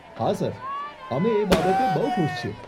હા સર, અમે એ બાબતે બહુ ખુશ છીએ.